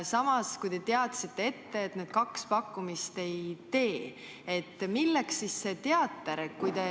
Samas, kui te teadsite ette, et need kaks pakkumist ei tee, siis milleks see teater?